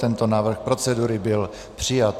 Tento návrh procedury byl přijat.